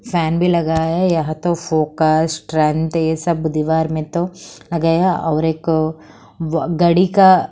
fan भी लगा है यहां तो फॉक्स ये सब दीवार में तो लगया और एक व गाड़ी का--